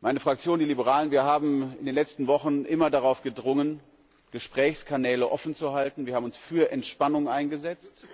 Meine Fraktion, die Liberalen, wir haben in den letzten Wochen immer darauf gedrängt, Gesprächskanäle offenzuhalten, wir haben uns für Entspannung eingesetzt,